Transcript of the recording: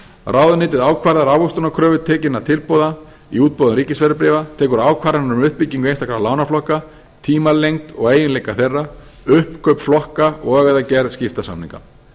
ráðuneytið ákvarðar ávöxtunarkröfu tekinna tilboða í útboðum ríkisverðbréfa tekur ákvarðanir um uppbyggingu einstakra lánaflokka tímalengd og eiginleika þeirra uppkaup flokka og eða gerð skiptasamninga